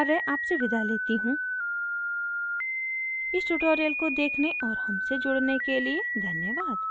I I T Bombay से मैं श्रुति आर्य आपसे विदा लेती हूँ इस tutorial को देखने और हमसे जुड़ने के लिए धन्यवाद